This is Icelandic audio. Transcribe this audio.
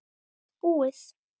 Búið!